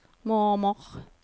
mormor